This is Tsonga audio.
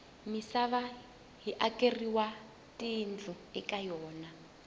misava yi akeriwa tiyindlu ka yona